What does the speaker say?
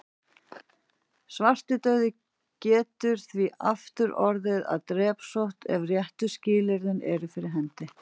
Svartidauði getur því aftur orðið að drepsótt ef réttu skilyrðin eru fyrir hendi.